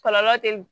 Kɔlɔlɔ te